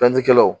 kɛla